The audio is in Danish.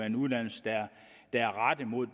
en uddannelse der er rettet mod